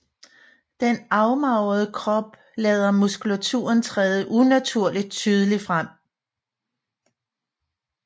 Den afmagrede krop lader muskulaturen træde unaturligt tydeligt frem